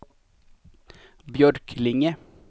Björklinge